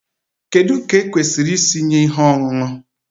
Kedu ka ekwesịrị isi nye ihe ọṅụṅụ?